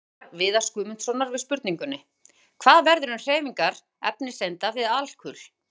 Sjá svar Viðars Guðmundssonar við spurningunni: Hvað verður um hreyfingar efniseinda við alkul?